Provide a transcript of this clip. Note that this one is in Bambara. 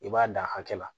I b'a dan hakɛ la